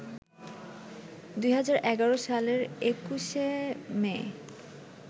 ২০১১ সালের ২১শে মে